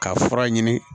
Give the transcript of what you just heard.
Ka fura ɲini